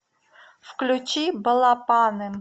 включи балапаным